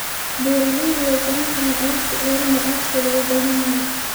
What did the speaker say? Beeraleydu way garan karaan alaabta ceeriin ee aadka loogu baahan yahay.